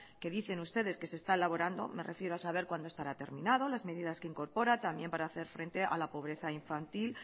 que dicen ustedes que se está elaborando me refiero a saber cuándo estará terminado las medidas que incorpora también para hacer frente a la pobreza infantil